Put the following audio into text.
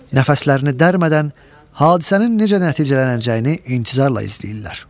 Nəfəslərini dərmədən hadisənin necə nəticələnəcəyini intizarla izləyirlər.